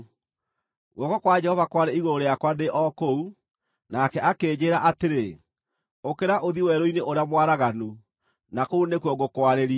Guoko kwa Jehova kwarĩ igũrũ rĩakwa ndĩ o kũu, nake akĩnjĩĩra atĩrĩ, “Ũkĩra ũthiĩ werũ-inĩ ũrĩa mwaraganu, na kũu nĩkuo ngũkwarĩria.”